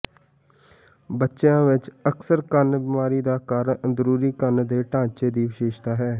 ਬੱਚਿਆਂ ਵਿੱਚ ਅਕਸਰ ਕੰਨ ਬਿਮਾਰੀ ਦਾ ਕਾਰਨ ਅੰਦਰੂਨੀ ਕੰਨ ਦੇ ਢਾਂਚੇ ਦੀ ਵਿਸ਼ੇਸ਼ਤਾ ਹੈ